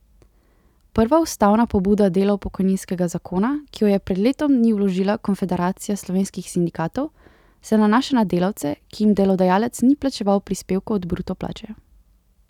Prva ustavna pobuda delov pokojninskega zakona, ki jo je pred letom dni vložila Konfederacija slovenskih sindikatov, se nanaša na delavce, ki jim delodajalec ni plačeval prispevkov od bruto plače.